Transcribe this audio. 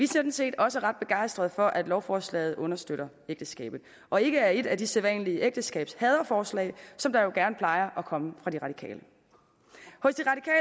sådan set også ret begejstret for at lovforslaget understøtter ægteskabet og ikke er et af de sædvanlige ægteskabshaderforslag som der jo gerne plejer at komme fra de radikale